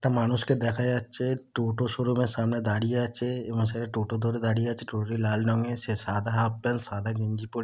একটা মানুষকে দেখা যাচ্ছে টোটো শোরুম -এর সামনে দাঁড়িয়ে আছে | এমা সে টোটো ধরে দাঁড়িয়ে আছে | টোটো টি লাল রঙের সে সাদা হাফ প্যান্ট সাদা গেঞ্জি পরে |